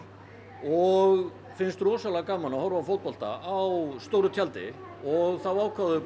og finnst rosalega gaman að horfa á fótbolta á stóru tjaldi og því ákváðum við